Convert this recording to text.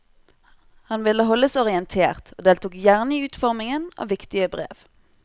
Han ville holdes orientert, og deltok gjerne i utformingen av viktige brev.